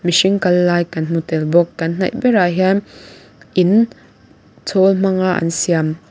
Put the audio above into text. mihring kal lai kan hmu tel bawk kan hnaih berah hian in chhaal hmang a an siam.